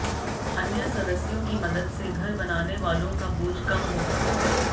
अन्य सदस्यों की मदद से घर बनाने वालों का बोझ कम होगा